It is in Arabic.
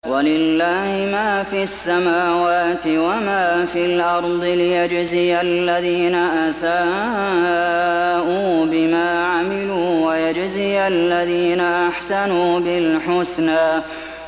وَلِلَّهِ مَا فِي السَّمَاوَاتِ وَمَا فِي الْأَرْضِ لِيَجْزِيَ الَّذِينَ أَسَاءُوا بِمَا عَمِلُوا وَيَجْزِيَ الَّذِينَ أَحْسَنُوا بِالْحُسْنَى